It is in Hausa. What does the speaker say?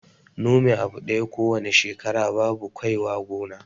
Nome abu ɗaya ko wane shekara babu kwai wa gona